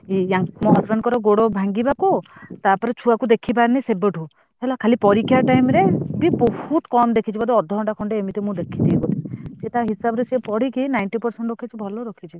Husband ଙ୍କ ଗୋଡ ଭାଙ୍ଗିବାକୁ ଟା ପରେ ଛୁଆ କୁ ଦେଖିପାରୁନି ସେବେଠୁ ଖାଲି ପରୀକ୍ଷା time ରେ ବହୁତ କମ ଦେଖିଛି